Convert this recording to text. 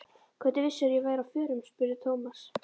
Hvernig vissirðu að ég væri á förum? spurði Thomas.